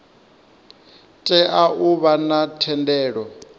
tea u vha na thendelo